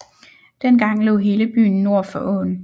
Dengang lå hele byen nord for åen